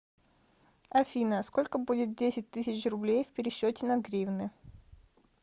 афина сколько будет десять тысяч рублей в пересчете на гривны